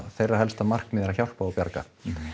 þeirra helsta markmið er að hjálpa og bjarga